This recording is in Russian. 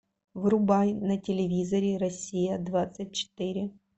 врубай на телевизоре россия двадцать четыре